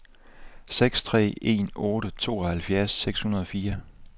seks tre en otte tooghalvfjerds seks hundrede og fire